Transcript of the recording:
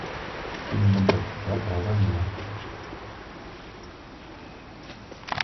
фильм бондарчука про войну